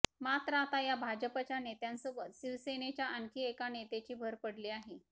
मात्र आता या भाजपाच्या नेत्यांसोबत शिवसेनेच्या आणखी एका नेत्याची भर पडली आहे